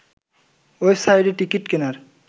ওয়েবসাইটে টিকিট কেনার